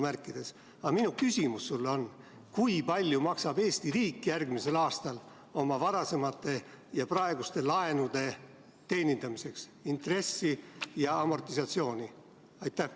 Aga minu küsimus sulle on: kui palju maksab Eesti riik järgmisel aastal oma varasemate ja praeguste laenude teenindamiseks intressi ja amortisatsiooni?